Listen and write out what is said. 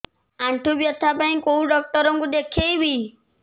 ଆଣ୍ଠୁ ବ୍ୟଥା ପାଇଁ କୋଉ ଡକ୍ଟର ଙ୍କୁ ଦେଖେଇବି